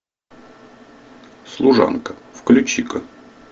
служанка включи ка